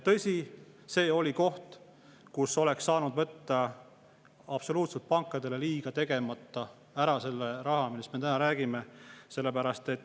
Tõsi, see oli koht, kust oleks saanud võtta pankadele absoluutselt liiga tegemata ära selle raha, millest me täna räägime.